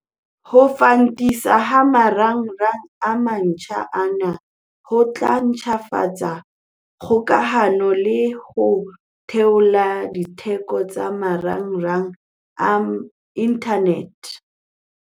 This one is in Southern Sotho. Ho fantiswa ha marangrang a mantjha ana ho tla ntlafatsa kgokahano le ho theola ditheko tsa marangrang a inthanete.